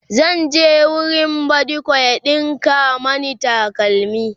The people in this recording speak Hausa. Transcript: zan je wurin badiko ya ɗinka Mani takalmi